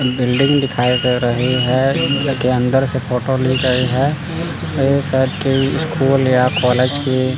building दिखाई दे रही है इसके अंदर से फोटो ले गई है एक साइड की स्कूल या कॉलेज की--